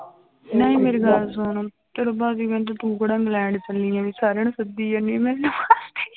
ਨਹੀਂ ਮੇਰੀ ਗੱਲ ਸੁਣ ਤੇਰੇ ਭਾਜੀ ਕਹਿਣ ਤੇ ਤੂੰ ਕਿਹੜਾ ਇੰਗਲੈਂਡ ਚੱਲੀ ਹੈ ਵੀ ਸਾਰਿਆਂ ਨੂੰ ਸੱਦੀ ਜਾਨੀ ਮੈਨੂੰ